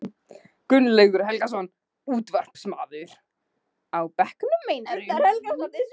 Gunnlaugur Helgason, útvarpsmaður: Á bekknum meinarðu?